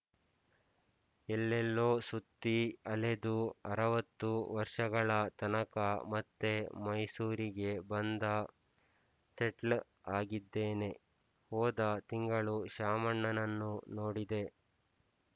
ಎಲ್ಲೆಲ್ಲೋ ಸುತ್ತಿ ಅಲೆದು ಅರವತ್ತು ವರ್ಷಗಳ ತನಕ ಮತ್ತೆ ಮೈಸೂರಿಗೇ ಬಂದ ಸೆಟ್ಲ್ ಆಗಿದ್ದೇನೆ ಹೋದ ತಿಂಗಳು ಶಾಮಣ್ಣನನ್ನು ನೋಡಿದೆ